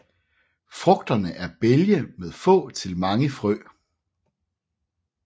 Frugterne er bælge med få til mange frø